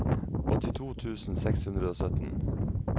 åttito tusen seks hundre og sytten